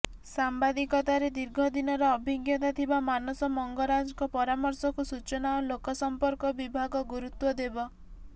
ସାମ୍ବାଦିକତାରେ ଦୀର୍ଘ ଦିନର ଅଭିଜ୍ଞତା ଥିବା ମାନସ ମଙ୍ଗରାଜଙ୍କ ପରାମର୍ଶକୁ ସୂଚନା ଓ ଲୋକସମ୍ପର୍କ ବିଭାଗ ଗୁରୁତ୍ୱ ଦେବ